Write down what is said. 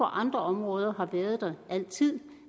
andre områder har det været der altid